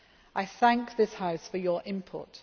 I thank this House for your input.